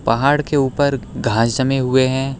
पहाड़ के ऊपर घास जमे हुए हैं।